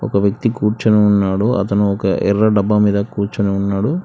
ఒక వ్యక్తి కూర్చుని ఉన్నాడు అతను ఒక ఎర్ర డబ్బా మీద కూర్చుని ఉన్నాడు.